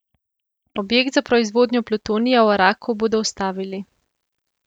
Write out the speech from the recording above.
Objekt za proizvodno plutonija v Araku bodo ustavili.